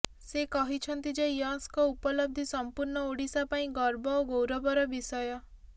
ସେ କହିଛନ୍ତି ଯେ ୟଶଙ୍କ ଉପଲବ୍ଧି ସମ୍ପୂର୍ଣ୍ଣ ଓଡିଶା ପାଇଁ ଗର୍ବ ଓ ଗୌରବର ବିଷୟ